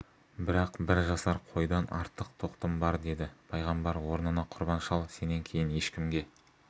бірақ бір жасар қойдан артық тоқтым бар деді пайғамбар орнына құрбан шал сенен кейін ешкімге